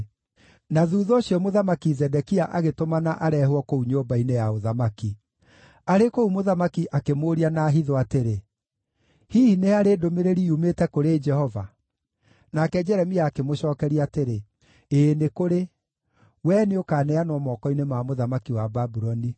Na thuutha ũcio Mũthamaki Zedekia agĩtũmana areehwo kũu nyũmba-inĩ ya ũthamaki. Arĩ kũu, mũthamaki akĩmũũria na hitho atĩrĩ, “Hihi nĩ harĩ ndũmĩrĩri yumĩte kũrĩ Jehova?” Nake Jeremia akĩmũcookeria atĩrĩ, “Ĩĩ, nĩ kũrĩ; wee nĩũkaneanwo moko-inĩ ma mũthamaki wa Babuloni.”